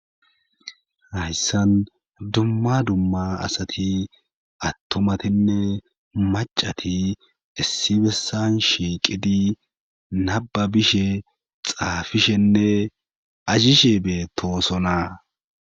Hayssan dumma dumma asati attomatinne macati issi bessan shiiqidi naba bishe xaafishenne azishe betoosona.